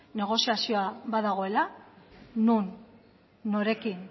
negoziazioa badagoela non norekin